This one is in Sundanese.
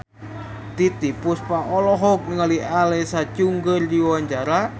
Titiek Puspa olohok ningali Alexa Chung keur diwawancara